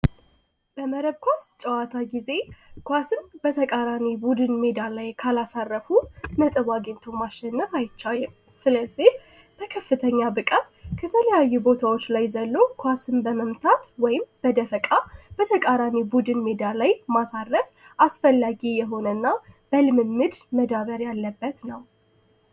በመረብ ኳስ ጨዋታ ጊዜ ኳስም በተቃራኒ ቡድን ሜዳ ላይ ካላሳረፉ አግኝቶ ማሸነፍ አይቼው ስለዚህ ከከፍተኛ ብቃት ቦታዎች ላይ ዘሎ ኳስን በመምታት ወይም በደቃ ራኔ ቡድን ሜዳ ላይ አስፈላጊ የሆነና በልምምድ መዳበር ያለበት ነው